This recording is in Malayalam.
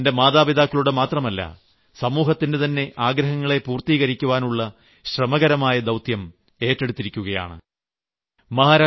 സോനൽ തന്റെ മാതാപിതാക്കളുടെ മാത്രമല്ല സമൂഹത്തിന്റെതന്നെ ആഗ്രഹങ്ങളെ പൂർത്തീകരിക്കുവാനുള്ള ശ്രമകരമായ ദൌത്യം ഏറ്റെടുത്തിരിക്കുകയാണ്